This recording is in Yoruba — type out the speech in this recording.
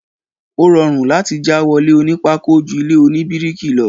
Ó rọrùn láti já wọlé oní pákó ju ilé oní bíríkì lọ.